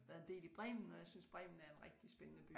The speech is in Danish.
Været en del i Bremen og jeg synes Bremen er en rigtig spændende by